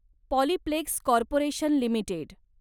Polyplex corporation limited